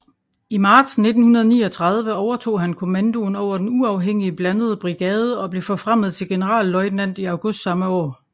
I marts 1939 overtog han kommandoen over den uafhængige blandede brigade og blev forfremmet til generalløjtnant i august samme år